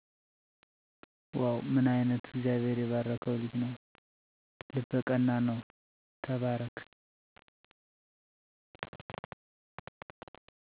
ዋዉ ምን አይነት እግዚአብሔር የባረከዉ ልጅ ነዉ፣ ልበ ቀና ነዉ ተባረክ